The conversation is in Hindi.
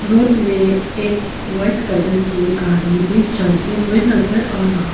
रोत में एक वाइट कलर के गाड़ी भी चलते हुए नजर आ रहा --